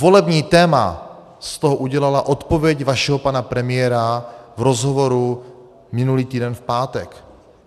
Volební téma z toho udělala odpověď vašeho pana premiéra v rozhovoru minulý týden v pátek.